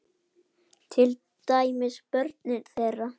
Til dæmis börnin þeirra.